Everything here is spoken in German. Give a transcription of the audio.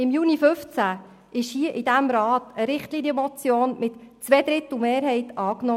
Im Juni 2015 wurde von diesem Rat eine Richtlinienmotion mit genau dieser Forderung von einer Zweidrittelmehrheit angenommen.